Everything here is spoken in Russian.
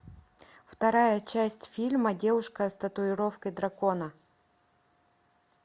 вторая часть фильма девушка с татуировкой дракона